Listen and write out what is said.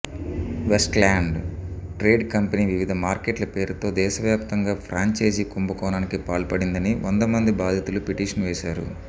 Westland trade company వివిధ మార్కెట్ల పేరుతో దేశవ్యాప్తంగా ఫ్రాంచైజీ కుంభకోణానికి పాల్పడిందని వందమంది బాధితులు పిటిషన్ వేశారు